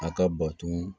A ka bato